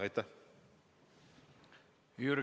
Aitäh!